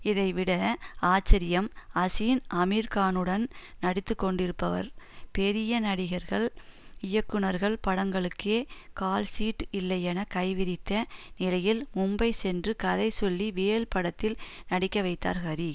இதைவிட ஆச்சரியம் அசின் அமீர்கானுடன் நடித்து கொண்டிருப்பவர் பெரிய நடிகர்கள் இயக்குனர்கள் படங்களுக்கே கால்ஷீட் இல்லையென கைவிரித்த நிலையில் மும்பை சென்று கதை சொல்லி வேல் படத்தில் நடிக்க வைத்தார் ஹரி